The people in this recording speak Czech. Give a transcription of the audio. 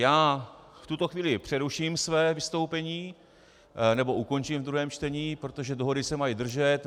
Já v tuto chvíli přeruším své vystoupení, nebo ukončím v druhém čtení, protože dohody se mají držet.